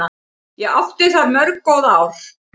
Ég átti þar mörg góð ár.